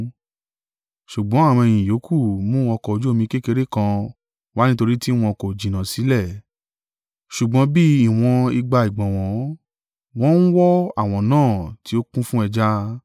Ṣùgbọ́n àwọn ọmọ-ẹ̀yìn ìyókù mú ọkọ̀ ojú omi kékeré kan wá nítorí tí wọn kò jìnà sílẹ̀, ṣùgbọ́n bí ìwọ̀n igba ìgbọ̀nwọ́; wọ́n ń wọ́ àwọ̀n náà tí ó kún fún ẹja.